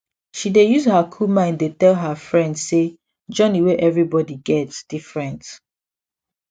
she dey use her cool mind dey tell her friend say journey wey everybody get different